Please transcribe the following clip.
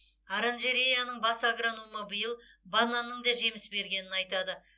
оранжереяның бас агрономы биыл бананның да жеміс бергенін айтады